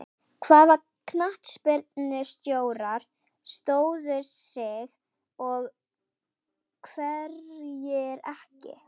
Hvaða knattspyrnustjórar stóðu sig og hverjir ekki?